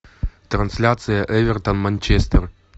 трансляция эвертон манчестер